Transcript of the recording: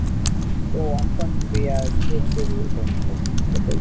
ஓ one twenty-five அ சரி சரி இந்த bike